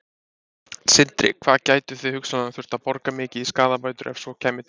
Sindri: Hvað gætuð þið hugsanlega þurft að borga mikið í skaðabætur ef svo kæmi til?